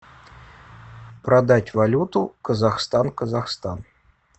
продать валюту казахстан казахстан